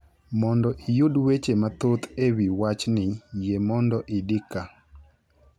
Mondo iyud weche mathoth e wi wachni, yie mondo idi ka.